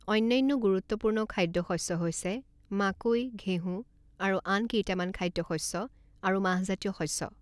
অন্যান্য গুৰুত্বপূৰ্ণ খাদ্য শস্য হৈছে মাকৈ, ঘেঁহু, আৰু আন কেইটামান খাদ্যশস্য আৰু মাহজাতীয় শস্য।